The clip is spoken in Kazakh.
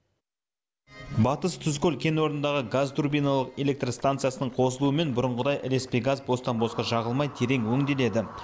батыс тұзкөл кен орнындағы газ турбиналық электростанциясының қосылуымен бұрынғыдай ілеспе газ бостан босқа жағылмай терең өңделеді